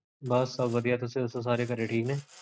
Buses ਵਧਿਆ, ਤੁਸੀਂ ਦੱਸੋ? ਘਰੇ ਠੀਕ ਨੇ ਸਾਰੇ?